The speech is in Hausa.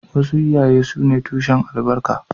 Wasu iyaye sune tushen albarka